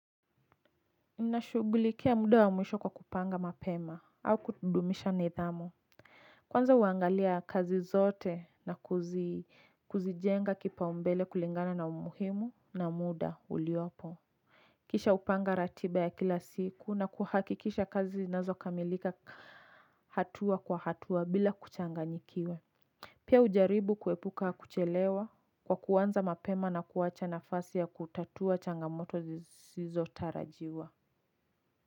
Ninashughulikia muda wa mwisho kwa kupanga mapema au kudumisha nidhamu. Kwanza huangalia kazi zote na kuzijenga kipaumbele kulingana na umuhimu na muda uliopo. Kisha hupanga ratiba ya kila siku na kuhakikisha kazi zinazokamilika hatua kwa hatua bila kuchanganyikiwa. Pia hujaribu kuepuka kuchelewa kwa kuanza mapema na kuwacha nafasi ya kutatua changamoto zisizotarajiwa.